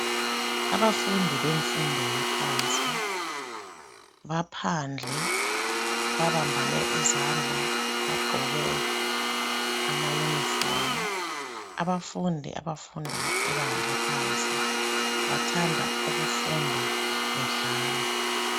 Abafundi bemfundo yaphansi baphandle babambane izandla, bagqoke amayunifomu. Abafundi bemfundo yebanga eliphansi bathanda ukufunda bedlala.